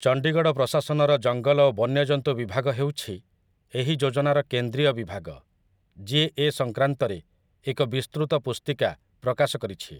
ଚଣ୍ଡୀଗଡ଼ ପ୍ରଶାସନର ଜଙ୍ଗଲ ଓ ବନ୍ୟଜନ୍ତୁ ବିଭାଗ ହେଉଛି ଏହି ଯୋଜନାର କେନ୍ଦ୍ରୀୟ ବିଭାଗ, ଯିଏ ଏ ସଙ୍କ୍ରାନ୍ତରେ ଏକ ବିସ୍ତୃତ ପୁସ୍ତିକା ପ୍ରକାଶ କରିଛି ।